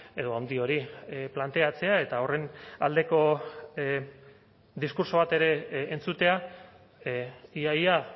edo handi hori planteatzea eta horren aldeko diskurtso bat ere entzutea ia ia